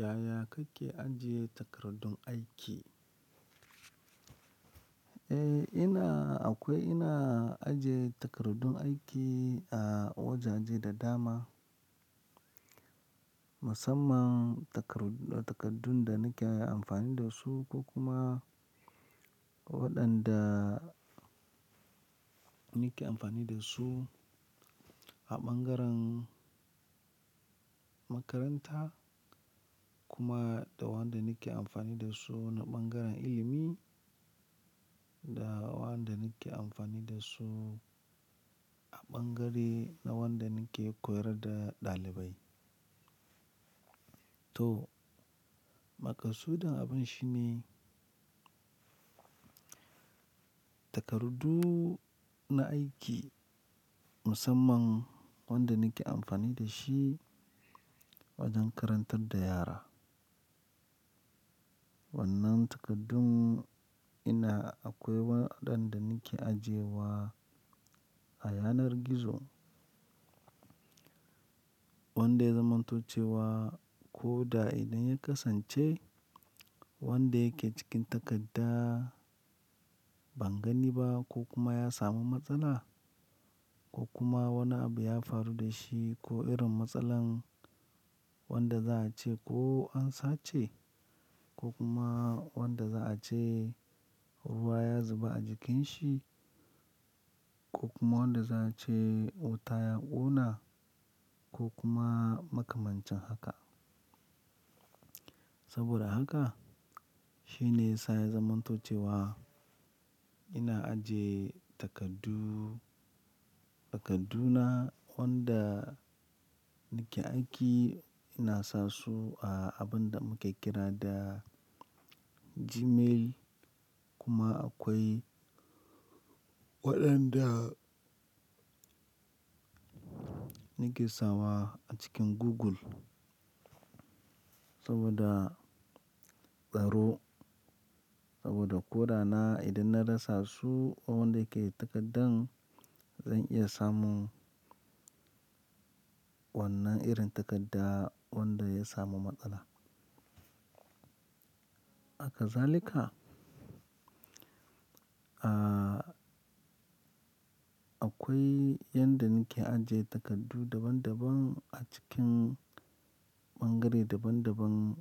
Yaya kake ajiye takardun aiki? Eh ina, akwai ina ajiye takardun aiki a wajaje da dama. Musamman takarud-- takardun da nake amfani da su ko kuma waɗanda nake amfani da su a bangaren makaranta kuma da wanda nake amfani da su na bangaren ilimi da waɗanda nake amfani da su a bangare na wanda nake koyar da ɗalibai. To, makasudin abun shine takardu na aiki musamman wanda nake amfani da shi wajen karantar da yara. Wannan takardun ina akwai waɗanda nake ajiyewa a yanar gizo. Wanda ya zamanto cewa ko da idan ya kasance wanda yake cikin takadda ban gani ba ko kuma ya samu matsala ko kuma wani abu ya faru da shi ko irin matsalan wanda za a ce ko an sace ko kuma wanda za a ce ruwa ya zuba a jikin shi ko kuma wanda za a ce wuta ya ƙona ko kuma makamancin haka. Saboda haka shine yasa ya zamanto cewa ina ajiye takardu, takarduna wanda nake aiki ina sa su a abun da muke kira da Gmail kuma akwai waɗanda nake sawa a cikin Google saboda tsaro. Saboda ko da na idan na rasa su onda yake takaddan zan iya samun wannan irin takadda wanda ya samu matsala. Haka zalika, ah, akwai yanda nake ajiye takardu daban daban a cikin bangare daban daban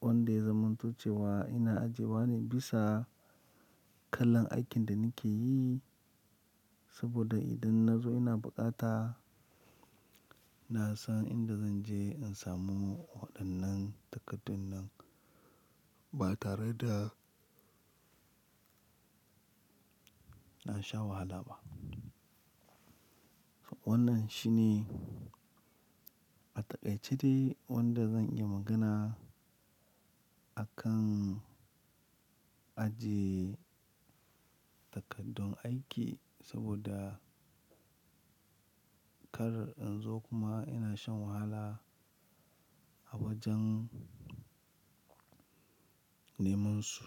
wanda ya zamanto cewa ina ajiyewa ne bisa kalan aikin da nake yi. Saboda idan na zo ina bukata, na san inda zan je in samu waɗannan takardun nan ba tare da na sha wahala ba. Wannan shine a taƙaice dai wanda zan iya magana akan ajiye takardun aiki saboda kar in zo kuma ina shan wahala a wajen neman su.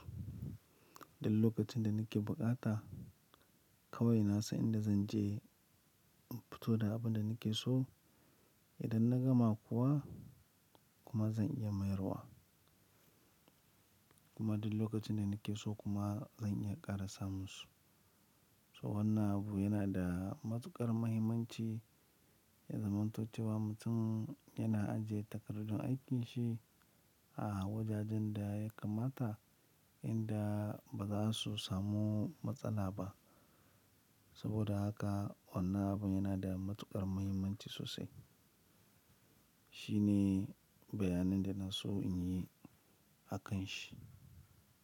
Duk lokacin da nake bukata kawai na san inda zan je in fito da abun da nake so. Idan na gama kuwa kuma zan iya mayarwa. Kuma duk lokacin da nake so kuma zan iya ƙara samun su. So wannan abu yana da matuƙar mahimmanci ya zamanto cewa mutum yana ajiye takardun aikinsa a wajajen da ya kamata inda baza su samu matsala ba. Saboda haka wannan abu yana da matuƙar mahimmanci sosai. Shine bayanin da na so in yi akan shi.